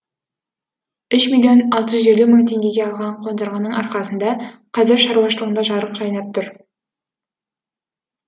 үш миллион алты жүз елу мың теңгеге алған қондырғының арқасында қазір шаруашылығында жарық жайнап тұр